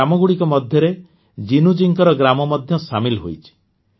ଏହି ଗ୍ରାମଗୁଡ଼ିକ ମଧ୍ୟରେ ଜିନୁଜୀଙ୍କର ଗ୍ରାମ ମଧ୍ୟ ସାମିଲ ହୋଇଛି